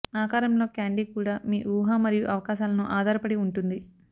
ఆకారంలో క్యాండీ కూడా మీ ఊహ మరియు అవకాశాలను ఆధారపడి ఉంటుంది